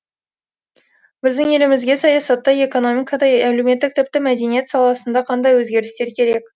біздің елімізге саясатта экономикада әлеуметтік тіпті мәдениет саласында қандай өзгерістер керек